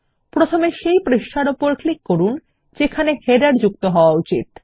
প্রথমে সেই পৃষ্ঠার ওপর ক্লিক করুন যেখানে শিরোলেখ যোগ করা উচিত